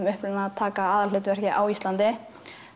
uppruna taka aðalhlutverk á Íslandi